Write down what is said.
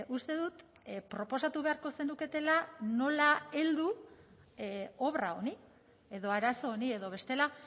uste dut proposatu beharko zenuketela nola heldu obra honi edo arazo honi edo bestela